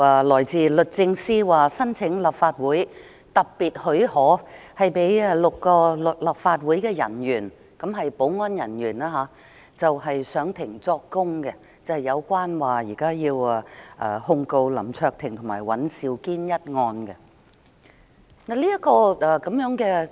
律政司申請立法會特別許可，讓6位立法會保安人員就香港特別行政區訴林卓廷及尹兆堅一案上庭作供。